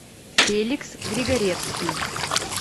феликс григоревский